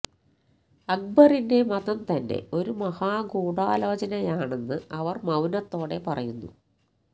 അക്ബറിന്റെ മതം തന്നെ ഒരു മഹാ ഗൂഢാലോചനയാണെന്ന് അവർ മൌനത്തോടെ പറയുന്നു